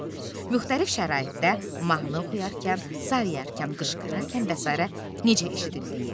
C. müxtəlif şəraitdə mahnı oxuyarkən, zarıyarkən, qışqırarkən və sairə necə eşidildiyi.